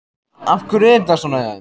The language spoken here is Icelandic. Af hverju er þetta svona hjá þeim?